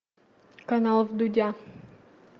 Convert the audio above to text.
канал дудя